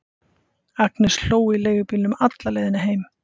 Agnes hló í leigubílnum alla leiðina heim.